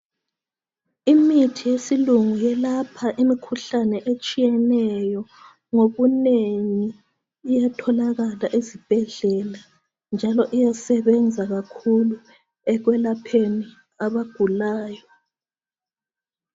Imithi yesilungu yelapha imikhuhlane etshiyeneyo ngobunengi iyatholakala esibhedlela njalo iyasebenza kakhulu ekwelapheni abagulayo.